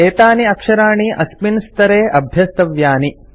एतानि अक्षराणि अस्मिन् स्तरे अभ्यस्तव्यानि